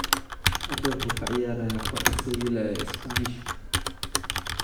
Hadda wuxuu ku ciyaarayaa kooxda Sevilla ee Isbaanishka.